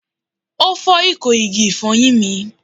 O fọ iko igi ifoyin mi